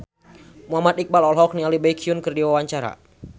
Muhammad Iqbal olohok ningali Baekhyun keur diwawancara